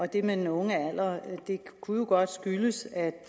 det med den unge alder kunne jo godt skyldes at